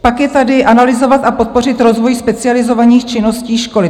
Pak je tady "analyzovat a podpořit rozvoj specializovaných činností školy".